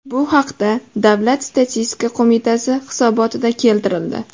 Bu haqda Davlat statistika qo‘mitasi hisobotida keltirildi .